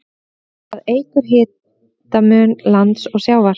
Það eykur hitamun lands og sjávar.